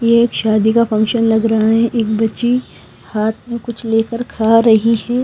ये एक शादी का फंक्शन लग रहा है एक बच्ची हाथ में कुछ लेकर खा रही है।